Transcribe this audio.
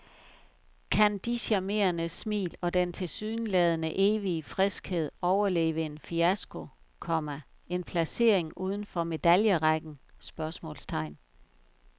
Kan de charmerende smil og den tilsyneladende evige friskhed overleve en fiasko, komma en placering uden for medaljerækken? spørgsmålstegn